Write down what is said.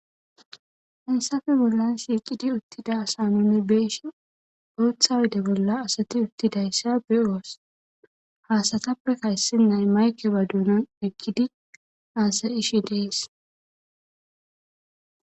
Haysafe bollan siiqidi uttida asanomibeeshe oothawode bolla asati uttidayssa be7oos haasatappekka issinnay maykeba duunan iqkidi haasayishe des